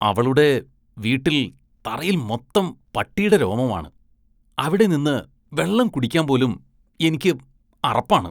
അവളുടെ വീട്ടില്‍ തറയില്‍ മൊത്തം പട്ടീടെ രോമമാണ്, അവിടെ നിന്ന് വെള്ളം കുടിക്കാന്‍ പോലും എനിക്ക് അറപ്പാണ്.